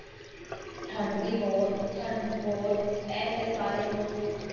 ਠੰਡ ਦੀ ਬਹੁਤ, ਠੰਡ ਵੀ ਬਹੁਤ, ਐ ਤੇ ਸਾਰੇ ਲੋਕ